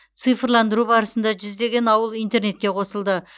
цифрландыру барысында жүздеген ауыл интернетке қосылды